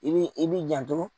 I b'i i b'i janto.